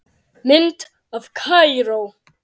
Mynd af Kaíró